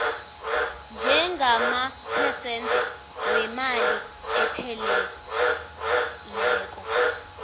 njengamaphesente wenani elipheleleko